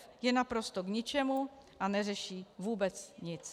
f) je naprosto k ničemu a neřeší vůbec nic.